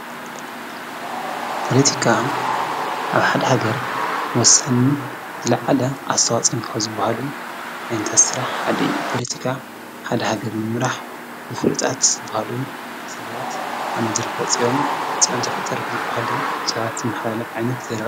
ፖሎቲካ ኣብ ሓደ ሃገር ወሳንን ዝለዓለ ኣስተዋጽኦ ካብ ዝብሃሉ ዓይነታት ስራሕ ሓደ እዩ፤ ፖሎቲካ ሓደ ሃገር ንምምራሕ ብፉሉጣት ዝብሃሉ ሰባት ኣብ መድረክ ወጺኦም ጽዕንቶ ፈጠርቲ ብዝብሃሉን ሰባት ዝመሓላለፍ ዓይነት ዘረባ እዩ።